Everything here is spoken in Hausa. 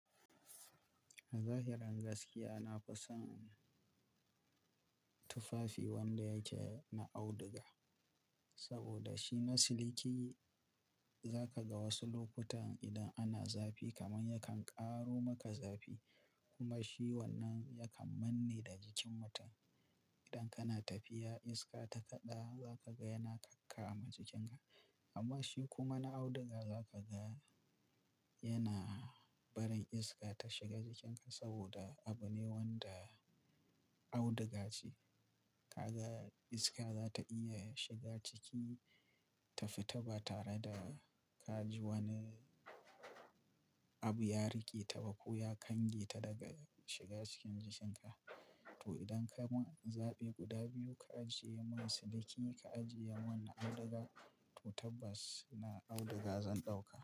A zahirin gaskiya, na fi son. Tufafi wanda yake na auduga. Saboda shi na siliki, za ka ga wasu lokutan idan ana zafi kaman yakan ƙaro maka zafi. Kuma shi wannan yakan manne da jikin mutum. Idan kana tafiya iska ta kaɗa, za ka ga yana kakkama jikin ka. Amma shi kuma na auduga za ka ga yana barin iska ta shiga jikin ka saboda abu ne wanda auduga ce. Ka ga iska za ta iya shiga ciki, tafi ta ba tare da ka ji wani, abu ya rike ta ba koya kange ta daga shiga cikin jikin ka. To idan ka ban zabi guda biyu, ka ajiye mun siliki, ka ajiyemun na auduga, to tabbas na auduga zan ɗauka.